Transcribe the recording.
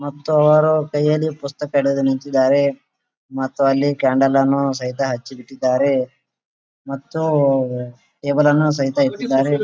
ಮತ್ತು ಅವರು ಕೈಯಲ್ಲಿ ಪುಸ್ತಕ ಹಿಡಿದು ನಿಂತಿದ್ದಾರೆ ಮತ್ತು ಅಲ್ಲಿ ಕ್ಯಾಂಡಲ್ ಅನ್ನು ಸಹಿತ ಹಚ್ಚಿ ಇಟ್ಟಿದ್ದಾರೆ ಮತ್ತು ಟೇಬಲ್ ಅನ್ನು ಸಹಿತ ಇಟ್ಟಿದ್ದಾರೆ .